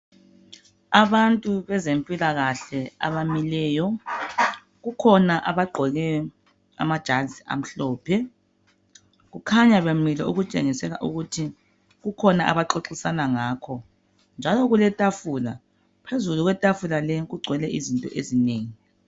Abantu bezempilakahle abamileyo. Kukhona abagqoke amajazi amhlophe. Kukhanya bemile okutshengisela ukuthi kukhona abaxoxisana ngakho, njalo kuletafula. Phezulu kwetafula leli kugcwele izinto ezinengi.